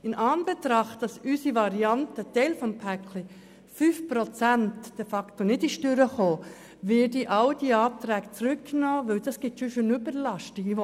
Weil unsere Variante als Teil des Pakets, nämlich die 5-prozentige Kürzung, nicht durchgekommen ist, werde ich all diese Anträge zurücknehmen, denn das führt sonst zu einer Überlastung.